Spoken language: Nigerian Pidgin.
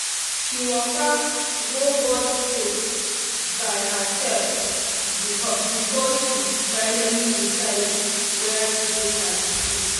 she waka go both schools by herself before she finally decide where to put her pikin